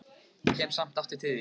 Ég kem samt aftur til þín.